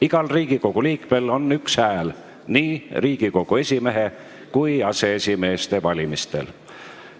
Igal Riigikogu liikmel on üks hääl nii Riigikogu esimehe kui aseesimeeste valimisel.